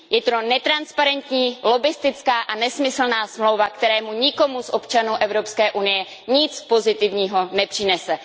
Je to netransparentní, lobbistická a nesmyslná smlouva, která nikomu z občanů Evropské unie nic pozitivního nepřinese.